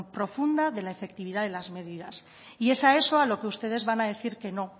profunda de la efectividad de las medidas y es a eso a lo que ustedes van a decir que no